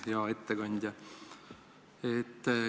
Hea ettekandja!